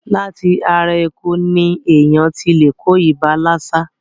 Láti ara eku ní èèyàn ti lè kó ibà lásà.